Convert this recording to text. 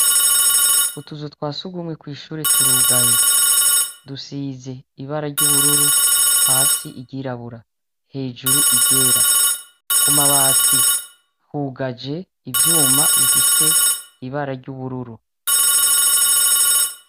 Utuzu twa sugumwe kw'ishure turugaye. Dusize ibara ry'ubururu, hasi iryirabura, hejuru iryera. Ku mabati hugaje ivyuma bifise ibara ry'ubururu.